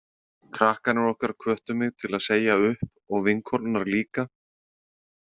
Krakkarnir okkar hvöttu mig til að segja upp og vinkonurnar líka.